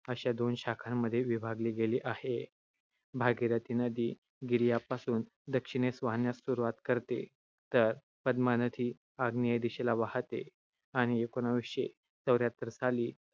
अशा दोन शाखांमध्ये विभागली गेली आहे. भागीरथी नदी गिरियापासून दक्षिणेकडे वाहण्यास सुरुवात करते तर पद्मा नदी आग्नेय दिशेला वाहते आणि एकोणीसशे चौऱ्याहत्तर साली